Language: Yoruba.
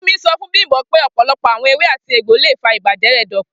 Fumi sọ fun Bimpe pe ọpọlọpọ awọn ewé àti egbo le fa ibajẹ ẹdọ jẹ.